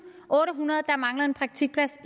otte hundrede der manglede en praktikplads